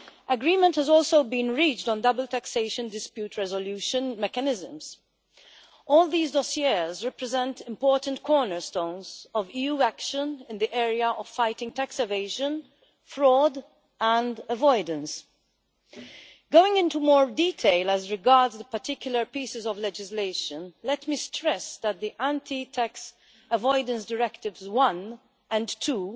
Agreement has also been reached on double taxation dispute resolution mechanisms. All these lost years represent important cornerstones of EU action in the area of fighting tax evasion, fraud and avoidance. Going into more detail as regards the particular pieces of legislation, let me stress that Anti Tax Avoidance Directives 1 and